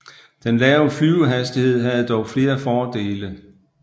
Den lave flyvehastighed havde dog flere fordele